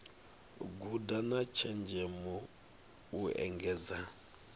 guda na tshenzhemo u engedza